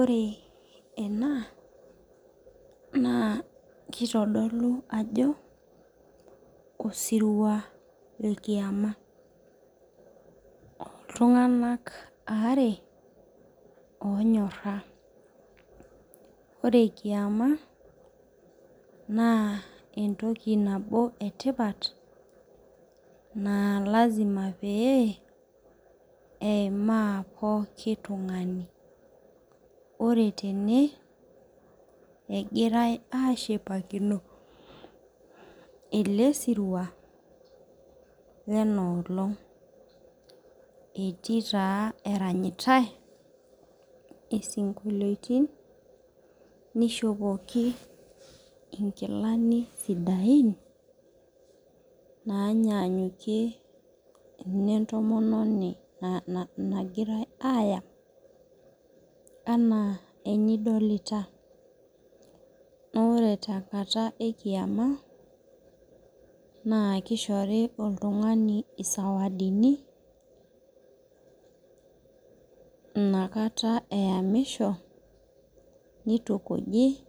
Ore ena naa, kitodolu ajo osirua le kiama. Iltunganak aare onyora. Ore kiama naa etoki nabo etipat naa lazima pee eiima pooki tung'ani. Ore tene egirae ashipakino ele sirua lenoolong etii taa eranyitae isikoliotin, nishopoki inkilani sidain naanyanyukie inetomononi nagirae ayam enaa enidolita. Naa ore tenkata e kiama naa kishori oltungani isawadini inakata eyamisho nitukuji